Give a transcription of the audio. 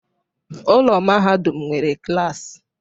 Ụlọ mahadum nwere klas